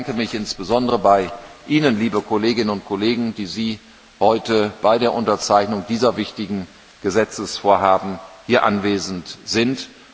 Ich bedanke mich insbesondere bei Ihnen, liebe Kolleginnen und Kollegen, die Sie heute bei der Unterzeichnung dieser wichtigen Gesetzesvorhaben hier anwesend sind.